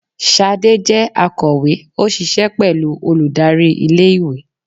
Sádé jẹ akowe, o ṣiṣẹ pẹlu olùdarí ilé ìwé